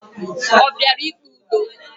O bịara ikpe ụdọ?